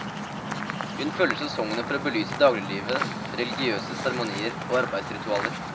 Hun følger sesongene for å belyse dagliglivet, religiøse seremonier og arbeidsritualer.